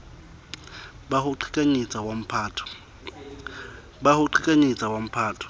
ba ho qhekanyetsa wa mphato